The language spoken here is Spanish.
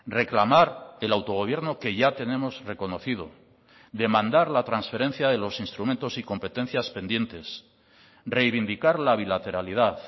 reclamar el autogobierno que ya tenemos reconocido demandar la transferencia de los instrumentos y competencias pendientes reivindicar la bilateralidad